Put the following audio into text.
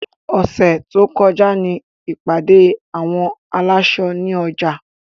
Ọ̀sẹ̀ tó kọjá ní ìpàdé àwọn aláṣọ ní ọjà.